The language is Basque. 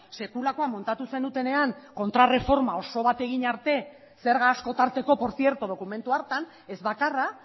sekulakoa montatu zenutenean kontrarreforma oso bat egin arte zerga asko tarteko por cierto dokumentu hartan ez bakarra